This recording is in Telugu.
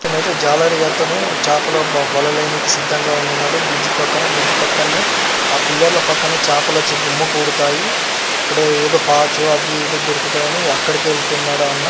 ఇక్కడ్నయితే జాలరి అతను చాపలు వలలు వేయనీకి సిద్దంగా ఉన్నాడు. బ్రిడ్జ్ పక్కన. బ్రిడ్జ్ పక్కన్నే ఆ పిల్లర్ ల పక్కనే చాపలచ్చి గుమిగూడుతాయి అక్కడేదో పాచు అది ఇది దొరుకుతదని అక్కడికే ఎళ్తున్నడు ఆ అన్న.